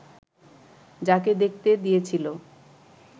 যাকে দেখতে দিয়েছিল